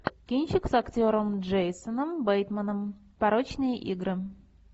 кинчик с актером джейсоном бейтманом порочные игры